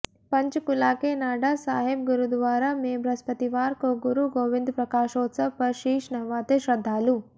पंचकूला के नाडा साहिब गुरुद्वारा में बृहस्पतिवार को गुरु गोबिंद प्रकाशोत्सव पर शीश नवाते श्रद्धालु